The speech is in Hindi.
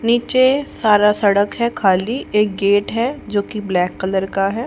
नीचे सारा सड़क है खाली एक गेट है जोकि ब्लैक कलर का है।